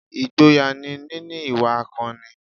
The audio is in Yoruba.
Ìgboyà ni níní ìwà akọni